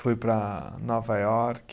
Fui para Nova York.